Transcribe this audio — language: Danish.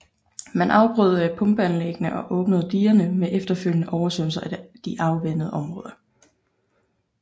Man afbrød pumpeanlæggene og åbnede digerne med efterfølgende oversvømmelse af de afvandede områder